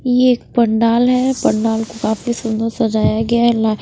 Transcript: ये एक पंडाल है पंडाल को काफी सुंदर सजाया गया--